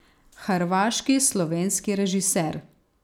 Hrvaški, slovenski režiser.